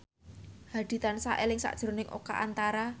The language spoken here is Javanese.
Hadi tansah eling sakjroning Oka Antara